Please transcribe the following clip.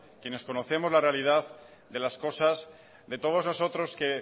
quienes conocemos la realidad de las cosas de todos nosotros que